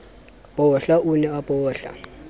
bohla o ne a bohla